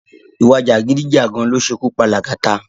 Ìwà jàgídíjàgan ló ṣe ikú pa Lagata